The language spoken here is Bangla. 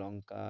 লঙ্কা,